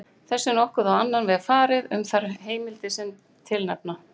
Þessu er nokkuð á annan veg farið um þær heimildir sem tilnefna